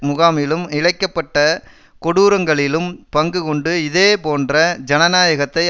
முகாமிலும் இழைக்க பட்ட கொடூரங்களிலும் பங்கு கொண்டு இதேபோன்ற ஜனநாயகத்தை